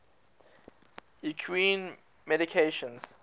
equine medications